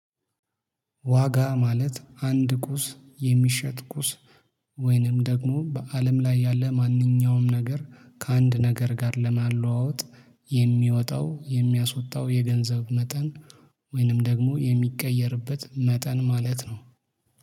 ዋጋ ማለት አንድ ቁስ የሚሸጥ ቁስ ወይንም ደግሞ በአለም ላይ ያለ ማንኛውም ነገር ከአንድ ነገር ጋር ለማለዋወጥ የሚወጣው የሚያስወጣው የገንዘብ መጠን ወይንም ደግሞ የሚቀየርበት መጠን ማለት ነው